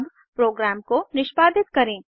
अब प्रोग्राम को निष्पादित करें